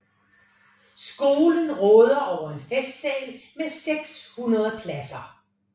Skolen råder over en festsal med 600 pladser